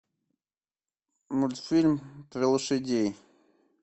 мультфильм про лошадей